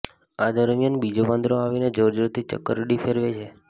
આ દરમિયાન બીજો વાંદરો આવીને જોરજોરથી ચક્કરડી ફેરવે છે